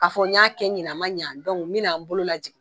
A fɔ n y'a kɛ ɲinan a ma ɲan, dɔnku n bɛna n bolo lajigin.